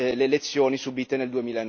le lezioni subite nel